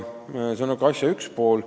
See on asja üks pool.